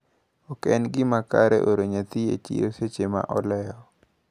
Oken gimaber oro nyathi e chiro seche maolewo.